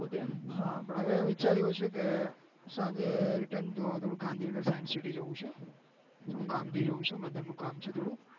હા પણ હવે વિચાર એવો છે કે સાંજે return થોડું ગાંધીનગર science city જવું છે કામ થી જવું છે mother નું કામ છે થોડું